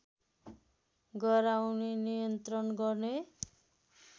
गराउने नियन्त्रण गर्ने